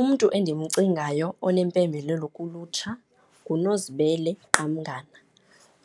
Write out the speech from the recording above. Umntu endimcingayo onempembelelo kulutsha nguNozibele Qamngana.